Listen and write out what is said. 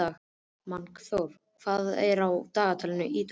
Magnþóra, hvað er á dagatalinu í dag?